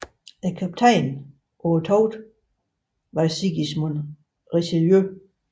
Kaptajn på togtet var Sigismund Richelieu